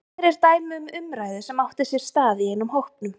Hér er dæmi um umræðu sem átti sér stað í einum hópnum